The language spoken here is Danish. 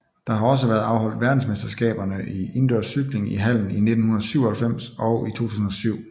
Der har også været afholdt verdensmesterskaberne i indendørscykling i hallen i 1997 og i 2007